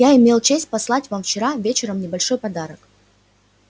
я имел честь послать вам вчера вечером небольшой подарок